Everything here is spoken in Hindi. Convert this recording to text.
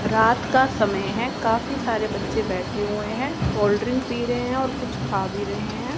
रात का समय है काफी सारे बच्चे बैठे हुए हैं कोल्ड ड्रिंक पी रहे हैं और कुछ खा भी रहे हैं।